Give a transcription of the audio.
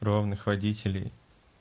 ровных водителей